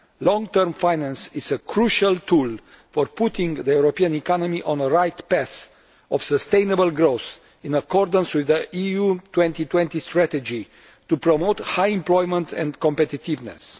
Long-term finance is a crucial tool for putting the European economy on the right path of sustainable growth in accordance with the EU 2020 Strategy, to promote high employment and competitiveness.